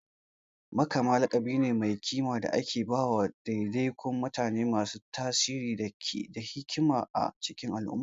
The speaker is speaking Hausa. Makama laƙabi ne mai kima da ake ba wa ɗaiɗaikun mutane masu tasiri ko hikima a cikin al'umma.